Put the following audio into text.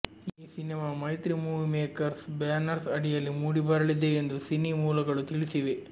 ಈ cinema Mythri movie makers banners ಅಡಿಯಲ್ಲಿ ಮೂಡಿಬರಲಿದೆ ಎಂದು ಸಿನಿ ಮೂಲಗಳು ತಿಳಿಸಿವೆ